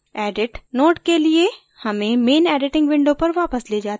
edit node के लिए main main editing window पर वापस ले जाता है